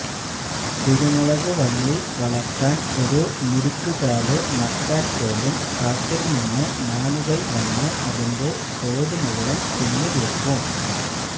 കുരുമുളക് വള്ളി വളര്ത്താന് ഒരു മുരിക്കുകാല് നട്ടാല് പോലും കാട്ടില്നിന്ന് മാനുകള് വന്ന് അതിന്റെ തോല് മുഴുവന് തിന്നുതീര്ക്കും